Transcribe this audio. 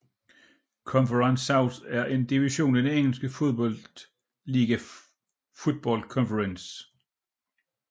Conference South er en division i den engelske fodboldliga Football Conference